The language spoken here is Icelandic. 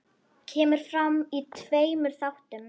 Kemur fram í tveimur þáttum.